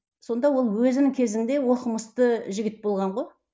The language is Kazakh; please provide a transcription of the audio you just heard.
сонда ол өзінің кезінде оқымысты жігіт болған ғой